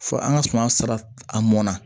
Fo an ka suman sara a mɔnna